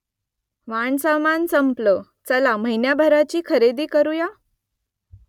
वाणसामान संपलं चला महिन्याभराची खरेदी करुया ?